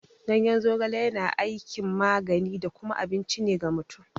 Ganyen zogale yana aikin magani da kuma abinci ne ga mutum.